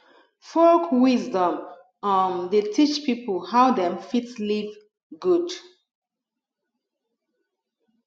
folk wisdom um dey teach pipo how dem fit live good